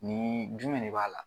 Ni jumɛn de b'a la